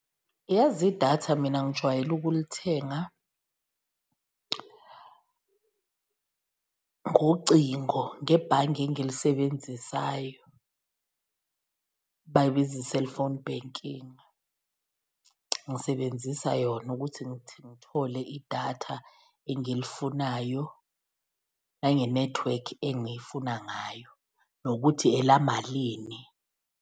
Yazi idatha mina ngijwayele ukulithenga ngocingo, ngebhange engilisebenzisayo bayibiza i-cellphone banking, ngisebenzisa yona ukuthi ngithole idatha engilifunayo nangenethiwekhi engiyifuna ngayo, nokuthi elamalini.